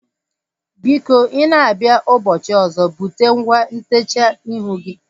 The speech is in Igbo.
Biko i na-abịa ụbọchị ọzọ bute ngwa ntechaa ihu gị